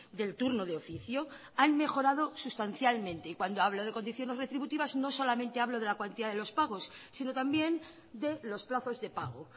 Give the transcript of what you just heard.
del turno de oficio han mejorado sustancialmente y cuando hablo de condiciones retributivas no solamente hablo de la cuantía de los pagos sino también de los plazos de pago